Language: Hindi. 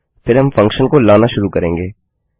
फिर हम फंक्शन को लाना शुरू करेंगे